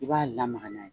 I b'a lamaga n'a ye